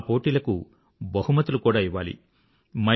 ఆ పోటీలకు బహుమతులు కూడా ఇవ్వాలి